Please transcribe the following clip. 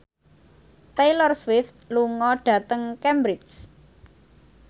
Taylor Swift lunga dhateng Cambridge